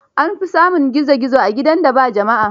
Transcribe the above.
An fi samun gizo gizzo a gidan da ba jama'a.